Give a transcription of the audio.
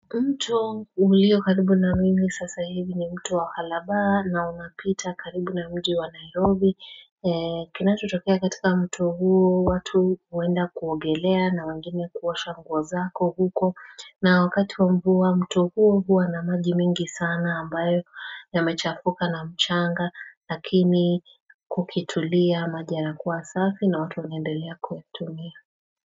Mto ulio karibu na mimi sasa hivi ni mtu wa halabaa na unapita karibu na mji wa nairobi kinachotokea katika mtu huo watu huenda kuogelea na wangene kuosha nguo zako huko na wakati wa mvua mtu huo huwa na maji mengi sana ambayo yamechafuka na mchanga lakini kukitulia maji yanakuwa safi na watu wanaendelea kutumia.